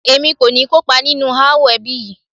Èmi kò ní kó ipa nínú ááwọ̀ ẹbí yìí